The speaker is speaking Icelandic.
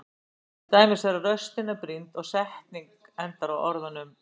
Til dæmis þegar raustin er brýnd og setning endar á orðunum.